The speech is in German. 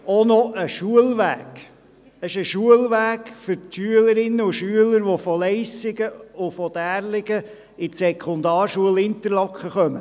Er ist ein Schulweg für die Schülerinnen und Schüler, die von Leissigen und Därligen aus die Sekundarschule in Interlaken besuchen.